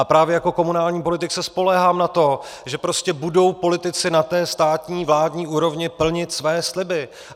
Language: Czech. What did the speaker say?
A právě jako komunální politik se spoléhám na to, že prostě budou politici na té státní, vládní úrovni plnit své sliby.